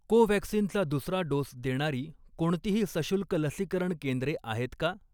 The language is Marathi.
कोव्हॅक्सिनचा दुसरा डोस देणारी कोणतीही सशुल्क लसीकरण केंद्रे आहेत का?